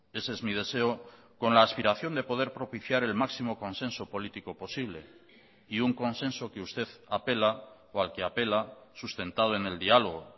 ese es mi deseo con la aspiración de poder propiciar el máximo consenso político posible y un consenso que usted apela o al que apela sustentado en el diálogo